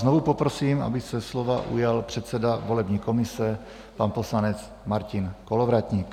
Znovu poprosím, aby se slova ujal předseda volební komise, pan poslanec Martin Kolovratník.